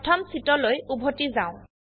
প্ৰথম শীটলৈ উভতি যাও